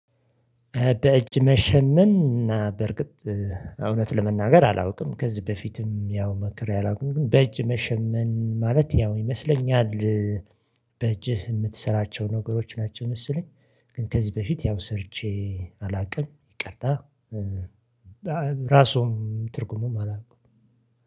በእጅ መሸመን እና በርግጥ እውነት ለመናገር አላውቅም ከዚህ በፊትም ያው ሞክሬ አላውቅም። ግን በእጅ መሸመን ማለት ያው ይመስለኛል በእጅህ የምትሰራቸው ነገሮች ናቸው መሰለኝ። ግን ከዚህ በፊት ያው ሰርቼ አላውቅም ይቅርታ። ራሱም ትርጉሙም አላቅም።